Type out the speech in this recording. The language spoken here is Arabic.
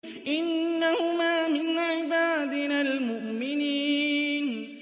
إِنَّهُمَا مِنْ عِبَادِنَا الْمُؤْمِنِينَ